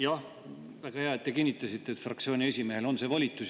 Jah, väga hea, et te kinnitasite, et fraktsiooni esimehel on see volitus.